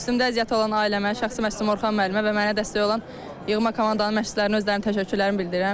Üstümdə əziyyəti olan ailəmə, şəxsi məşqçim Orxan müəllimə və mənə dəstək olan yığma komandanın məşqçilərinə özlərinin təşəkkürlərini bildirirəm.